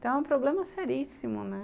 Então é um problema seríssimo, né?